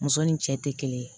Muso ni cɛ tɛ kelen ye